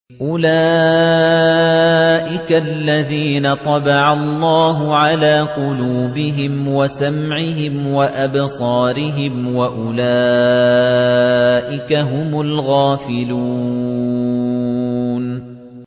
أُولَٰئِكَ الَّذِينَ طَبَعَ اللَّهُ عَلَىٰ قُلُوبِهِمْ وَسَمْعِهِمْ وَأَبْصَارِهِمْ ۖ وَأُولَٰئِكَ هُمُ الْغَافِلُونَ